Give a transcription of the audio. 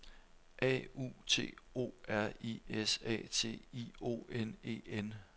A U T O R I S A T I O N E N